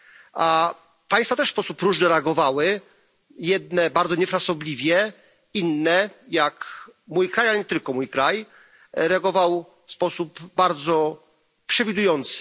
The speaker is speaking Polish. A państwa też w sposób różny reagowały jedne bardzo niefrasobliwie, inne, jak mój kraj, ale nie tylko mój kraj, reagowały w sposób bardzo przewidujący.